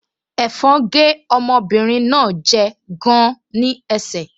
Ẹ̀fọn gé ọmọbìnrin náà jẹ gan-an ní ẹsẹ̀